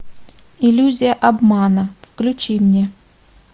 иллюзия обмана включи мне